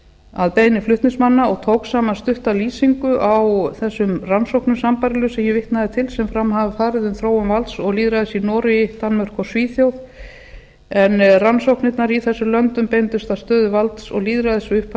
að beiðni flutningsmanna og tók saman stutta lýsingu á þessum rannsóknum sambærilega sem ég vitnaði til sem fram hafa farið um þróun valds og lýðræðis i noregi danmörku og svíþjóð en rannsóknirnar í þessum löndum beindust að stöðu valds og lýðræðis við upphaf